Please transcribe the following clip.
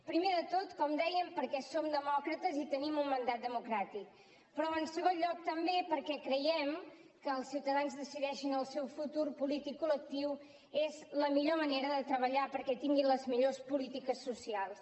primer de tot com dèiem perquè som demòcrates i tenim un mandat democràtic però en segon lloc també perquè creiem que el fet que els ciutadans decideixin el seu futur polític col·lectiu és la millor manera de treballar perquè tinguin les millors polítiques socials